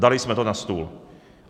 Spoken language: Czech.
Dali jsme to na stůl.